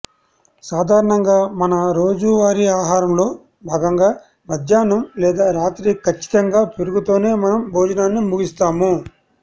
సాధారణంగా మన రోజువారీ ఆహారంలో భాగంగా మధ్యాహ్నం లేదా రాత్రి ఖచ్చితంగా పెరుగుతోనే మనం భోజనాన్ని ముగిస్తాము